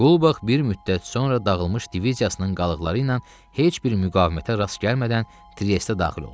Qulbax bir müddət sonra dağılmış diviziyasının qalıqları ilə heç bir müqavimətə rast gəlmədən Triesdə daxil oldu.